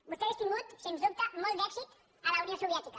vostè hauria tingut sens dubte molt d’èxit a la unió soviètica